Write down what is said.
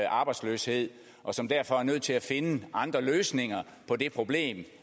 arbejdsløshed og som derfor er nødt til at finde andre løsninger på det problem